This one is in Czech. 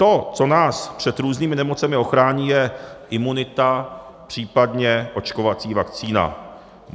To, co nás před různými nemocemi ochrání, je imunita, případně očkovací vakcína.